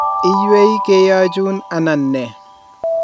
iywei keyochun anan nee